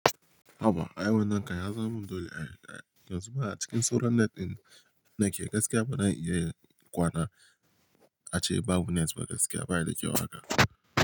Haba aiwan nan kam ya zama dole a yanzu ma a cikin soran net ɗin nake gaskiya ba dan iya kwana ace babu net ba gaskiya ba ya da kyau haka.